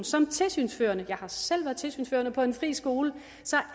som tilsynsførende jeg har selv været tilsynsførende på en fri skole